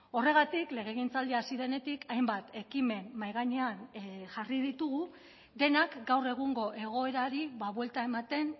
horregatik legegintzaldia hasi denetik hainbat ekimen mahai gainean jarri ditugu denak gaur egungo egoerari buelta ematen